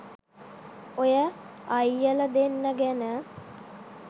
ඔය අයියල දෙන්න ගැන